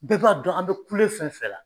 Bɛɛ b'a dɔn an bɛ kule fɛn fɛn la